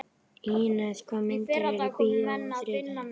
Ínes, hvaða myndir eru í bíó á þriðjudaginn?